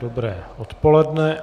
Dobré odpoledne.